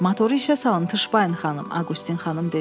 Motora işə salın, Tışpayın xanım, Aqustin xanım dedi.